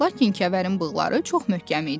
Lakin Kəvərin bığları çox möhkəm idi.